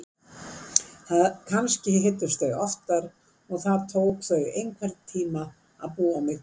Kannski hittust þau oftar og það tók þau einhvern tíma að búa mig til.